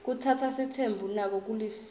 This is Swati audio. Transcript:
kutsatsa sitsembu nako kulisiko